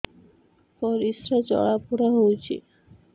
ପରିସ୍ରା ଜଳାପୋଡା ହଉଛି